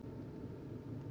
Þær eru risavaxnar!